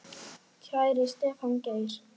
Kæri Stefán Geir.